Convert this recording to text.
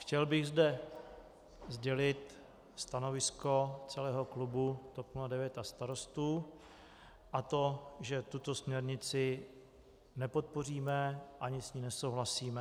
Chtěl bych zde sdělit stanovisko celého klubu TOP 09 a Starostů, a to že tuto směrnici nepodpoříme ani s ní nesouhlasíme.